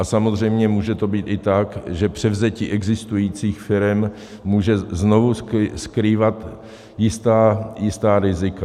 A samozřejmě může to být i tak, že převzetí existujících firem může znovu skrývat jistá rizika.